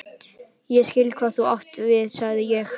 Ég skil, hvað þú átt við sagði ég.